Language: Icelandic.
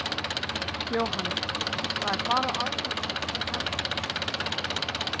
Jóhanna: Það er bara á aðfangadag sem það gerist?